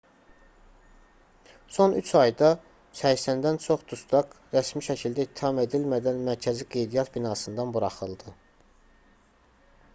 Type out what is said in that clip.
son 3 ayda 80-dən çox dustaq rəsmi şəkildə ittiham edilmədən mərkəzi qeydiyyat binasından buraxıldı